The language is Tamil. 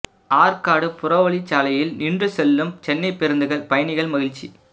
ஆற்காடு புறவழிச் சாலையில் நின்று செல்லும் சென்னைப் பேருந்துகள் பயணிகள் மகிழ்ச்சி